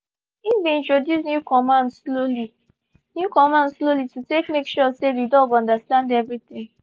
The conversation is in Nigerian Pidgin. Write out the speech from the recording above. he been introduce new command slowly new command slowly to take make sure say the dog understand everything